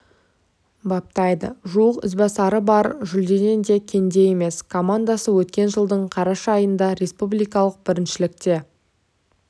баптайды жуық ізбасары бар жүлдеден де кенде емес командасы өткен жылдың қараша айында республикалық біріншілікте